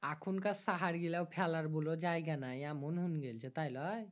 এখুন কার সাহার গীলা ফেলার বোলো জায়গা নাই এমন হুং গেল্ছে তাই লয়